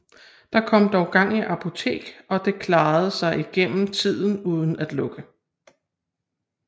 Der kom dog gang i apoteket og det klarede sig igennem tiden uden at lukke